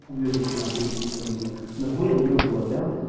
уебище на хуй ебучее блять нахуя меня убивать